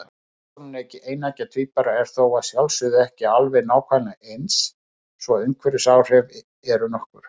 Persónuleiki eineggja tvíbura er þó að sjálfsögðu ekki alveg nákvæmlega eins, svo umhverfisáhrif eru nokkur.